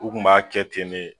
U kun b'a kɛ ten ne